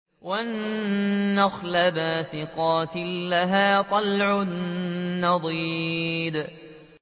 وَالنَّخْلَ بَاسِقَاتٍ لَّهَا طَلْعٌ نَّضِيدٌ